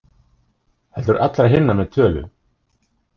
Heldur allra hinna með tölu.